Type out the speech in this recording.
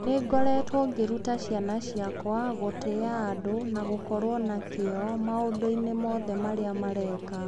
Nĩ ngoretwo ngĩruta ciana ciakwa gũtĩa andũ na gũkorwo na kĩyo maũndũ-inĩ mothe marĩa mareka.